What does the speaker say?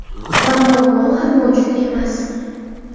Va muammo ham mavjud emas.